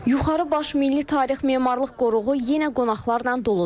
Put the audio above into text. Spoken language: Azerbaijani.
Yuxarı Baş Milli Tarix Memarlıq Qoruğu yenə qonaqlarla doludur.